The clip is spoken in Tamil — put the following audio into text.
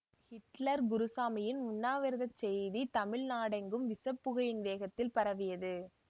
ஹிட்லர் குருசாமியின் உண்ணாவிரதச் செய்தி தமிழ் நாடெங்கும் விஷப் புகையின் வேகத்தில் பரவியது